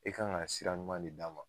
E kan ga sira ɲuman de d'a ma